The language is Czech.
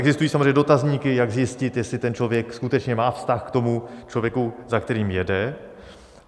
Existují samozřejmě dotazníky, jak zjistit, jestli ten člověk skutečně má vztah k tomu člověku, za kterým jede.